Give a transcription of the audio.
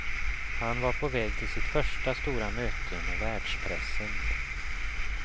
Han var på väg till sitt första stora möte med världspressen.